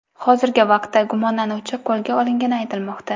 Hozirgi vaqtda gumonlanuvchi qo‘lga olingani aytilmoqda.